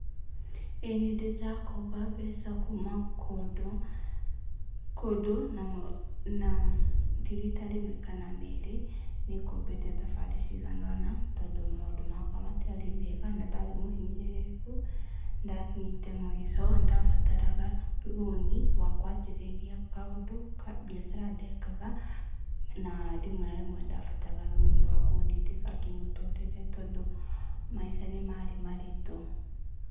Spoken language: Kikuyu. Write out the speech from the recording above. Ĩĩ nĩndĩ ndakomba mbeca kuuma kũndũ, kũndũ na ti rita rĩmwe kana merĩ, nĩ ngombete thabarĩ cigana-ona, tondũ maũndũ makwa matiarĩ mega na ndarĩ mũhinyĩrĩrĩku. Nĩ ndakinyĩte mũico, nĩ ndabataraga rũni rwa kwanjĩrĩria kaũndũ, biacara ndekaga, na rĩmwe na rĩmwe nĩndabataraga rũni rwa kũndindĩka kĩmũtũrĩre, tondũ maica nĩmarĩ maritũ.